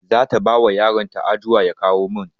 Zata bawa yaron ta adua ya kawo min